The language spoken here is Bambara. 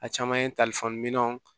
A caman ye minɛnw